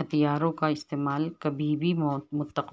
ہتھیاروں کا استعمال کبھی بھی متوقع